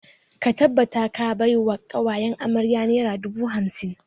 Ka tabbata ka bai wa ƙawayen amarya naira dubu hamsin!